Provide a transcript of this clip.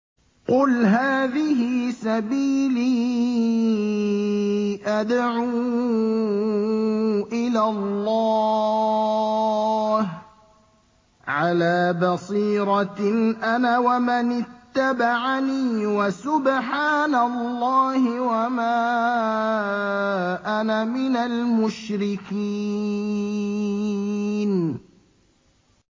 قُلْ هَٰذِهِ سَبِيلِي أَدْعُو إِلَى اللَّهِ ۚ عَلَىٰ بَصِيرَةٍ أَنَا وَمَنِ اتَّبَعَنِي ۖ وَسُبْحَانَ اللَّهِ وَمَا أَنَا مِنَ الْمُشْرِكِينَ